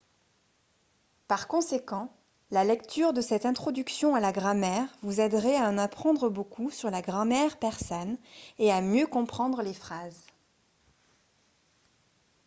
par conséquent la lecture de cette introduction à la grammaire vous aiderait à en apprendre beaucoup sur la grammaire persane et à mieux comprendre les phrases